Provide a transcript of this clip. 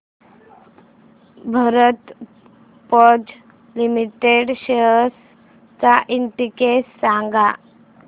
Bharat Forge limited shares चा index सांगा